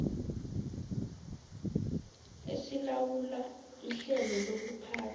esilawula ihlelo lokuphathwa